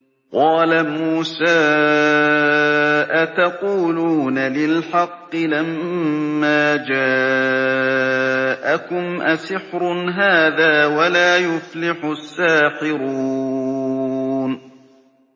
قَالَ مُوسَىٰ أَتَقُولُونَ لِلْحَقِّ لَمَّا جَاءَكُمْ ۖ أَسِحْرٌ هَٰذَا وَلَا يُفْلِحُ السَّاحِرُونَ